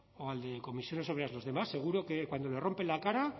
o al de comisiones obreras los demás seguro que cuando le rompen la cara